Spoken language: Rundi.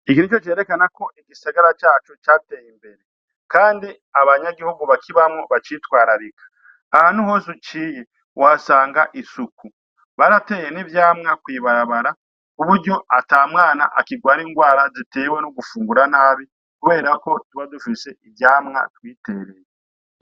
Iki nico cerekana ko igisagara cacu cateye imbere, kandi abanyagihugu bakibamwo bacitwararika. Ahantu hose uciye, uhasanga isuku. Barateye n'ivyamwa kw'ibarabara kuburyo ata mwana akigwara indwara zitewe no gufungura nabi kubera ko tuba dufise ivyamwa twitereye.